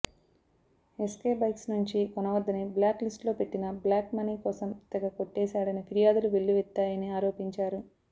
SK bikes నుంచి కొనవద్దని బ్లాక్ లిస్టులో పెట్టినా బ్లాక్ మనీ కోసం తెగ కొట్టేశాడని ఫిర్యాదులు వెల్లువెత్తాయని ఆరోపించారు